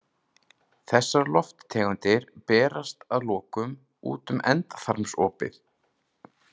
Þessar lofttegundir berast að lokum út um endaþarmsopið.